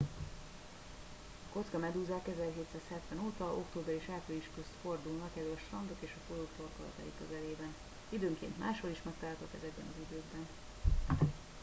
a kockamedúzák 1770 óta október és április közt fordulnak elő a strandok és a folyók torkolatai közelében időnként máshol is megtalálhatóak ezekben az időkben